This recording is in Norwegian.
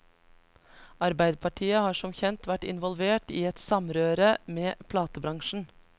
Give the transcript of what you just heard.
Arbeiderpartiet har som kjent vært involvert i et samrøre med platebransjen.